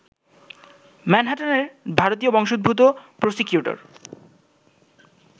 ম্যানহাটানের ভারতীয় বংশোদ্ভূত প্রসিকিউটর